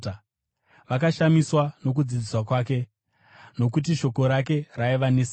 Vakashamiswa nokudzidzisa kwake, nokuti shoko rake raiva nesimba.